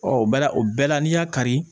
Ɔ o bɛɛ la o bɛɛ la n'i y'a kari